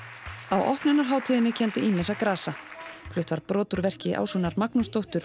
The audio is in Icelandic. á opnunarhátíðinni kenndi ýmissa grasa flutt var brot úr verki Ásrúnar Magnúsdóttur